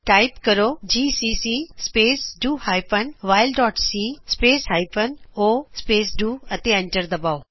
type ਕਰੋ GCC space do hyphen wall dot c space o space do ਅਤੇ enter ਦਬਾਓ